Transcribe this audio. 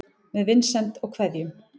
Með vinsemd og kveðjum